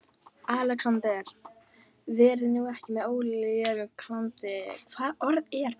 ALEXANDER: Verið nú ekki með ólíkindalæti.